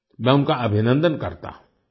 मैं उनका अभिनंदन करता हूँ